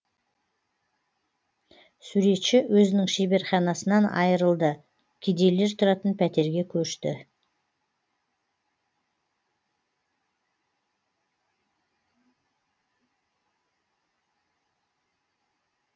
суретші өзінің шеберханасынан айырылды кедейлер тұратын пәтерге көшті